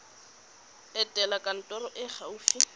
etela kantoro e e gaufi